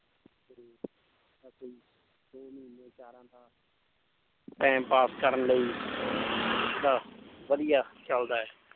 Time pass ਕਰਨ ਲਈ ਤਾਂ ਵਧੀਆ ਚੱਲਦਾ ਹੈ।